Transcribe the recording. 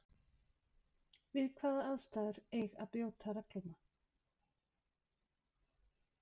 Við hvaða aðstæður eig að brjóta regluna?